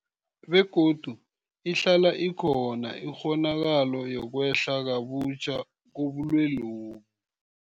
Begodu ihlala ikhona ikghonakalo yokwehla kabutjha kobulwelobu.